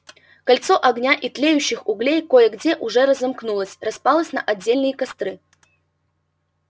кольцо огня и тлеющих углей кое-где уже разомкнулось распалось на отдельные костры